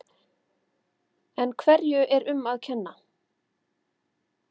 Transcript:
En hverju er um að kenna?